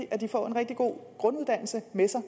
at de får en rigtig god grunduddannelse med sig